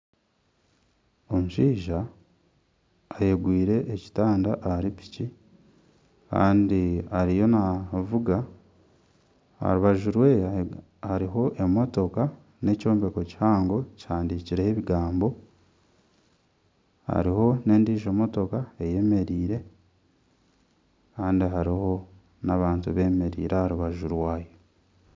Omushaija ayegwire ekitanda ahari piki kandi ariyo naavuga aha rubaju rye hariho emotoka n'ekyombeko kihango kihandikireho ebigambo hariho n'endiijo motoka eyemereire kandi hariho n'abantu beemereire aha rubaju rwayo